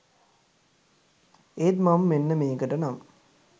ඒත් මම මෙන්න මේකට නම්